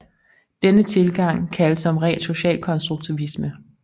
Denne tilgang kaldes som regel socialkonstruktivisme